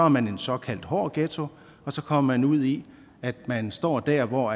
man en såkaldt hård ghetto og så kommer man ud i at man står der hvor